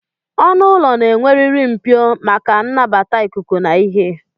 Ọnụụlọ na-enweriri Mpio maka mbata ikuku na ihe